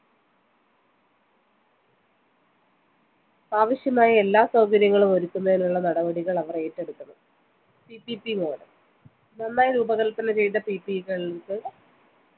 ആവിശ്യമായ എല്ലാ സൗകര്യങ്ങളുമൊരുക്കുന്നതിനുള്ള നടപടികൾ അവർ ഏറ്റെടുക്കണം PPPmodel നന്നായി രൂപകല്പന ചെയ്ത PP കൾക്ക്